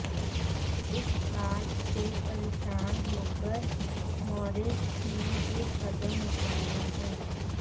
इस बात से परेशान होकर मोरोज ने ये कदम उठाया है